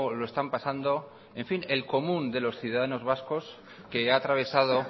lo están pasando en fin el común de los ciudadanos vascos que ha atravesado